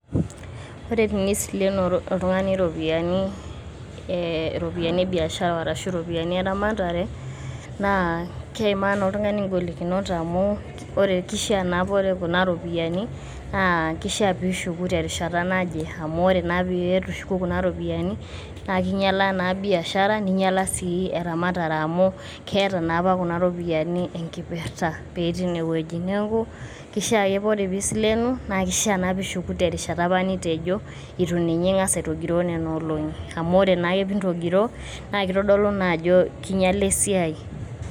Ore tenisilenu oltung'ani iropiani e biashara arashu iropiani e ramatare naa keimaa naa oltung'ani ing'olikinot amu ore kishaa naa ore kuna ropiani kishaa piishuku terishata naje amu ore naa piitu ishuku kuna ropiani, naake inyala naa biashara, ninyala sii eramatare amu keeta naapa kuna ropiani neeta enkipirta petii ine wueji. Neeku kishaa ake kore piisilenu, kishaa piishuku terishata nitejo itu ninye ing'asa aitogiroo nena olong'i amu ore naake pee intogiroo naake itodolu naa ajo kinyala naake esiai.